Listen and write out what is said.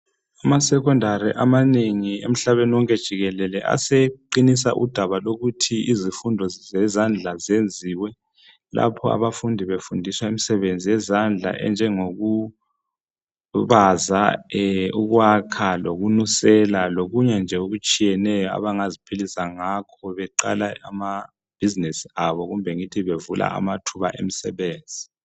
Amasekhondari amanengi umhlaba wonke jikelele aseqinisa udaba lokuthi izifundo zezandla zenziwe lapho abafundi befundiswa imsebenzi yezandla enjengoku baza, kwakha lokusela lokunye nje okutshiyeneyo. Abangaziphilisa ngakho beqala amabhizinesi abo kumbe ngithi bevula amathuba omsebenzi.